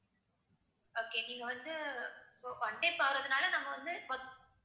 okay நீங்க வந்து போறதுனால நம்ம வந்து